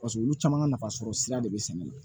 Paseke olu caman ka nafasɔrɔ sira de be sɛnɛ na